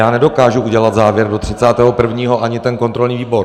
Já nedokážu udělat závěr do 31. 1., ani kontrolní výbor.